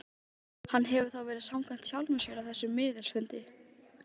Ég svíf á öskutunnulokinu yfir hnöttinn.